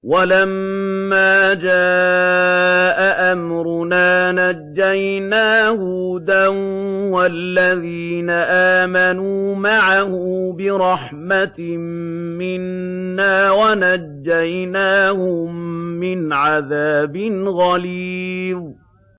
وَلَمَّا جَاءَ أَمْرُنَا نَجَّيْنَا هُودًا وَالَّذِينَ آمَنُوا مَعَهُ بِرَحْمَةٍ مِّنَّا وَنَجَّيْنَاهُم مِّنْ عَذَابٍ غَلِيظٍ